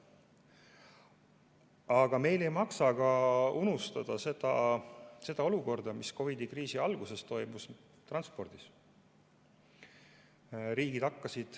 Aga meil ei maksa unustada ka seda, mis COVID‑i kriisi alguses toimus transpordis.